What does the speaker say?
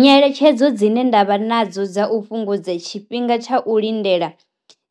Nyeletshedzo dzine ndavha nadzo dza u fhungudza tshifhinga tsha u lindela